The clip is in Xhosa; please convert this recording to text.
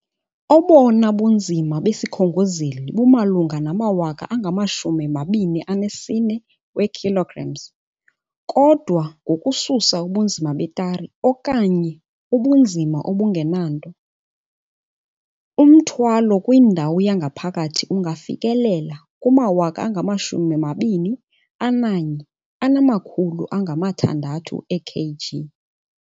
Obona bunzima besikhongozeli bumalunga nama-24,000 kg kodwa ngokususa ubunzima betare, okanye ubunzima obungenanto, umthwalo kwindawo yangaphakathi ungafikelela kuma-21,600. ikg.